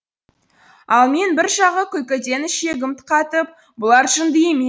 ал мен бір жағы күлкіден ішегім қатып бұлар жынды емес